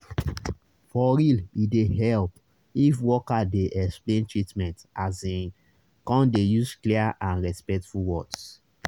for real e dey help if worker dey explain treatment asin come dey use clear and and respectful words